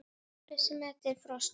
Ryðga málmar í frosti?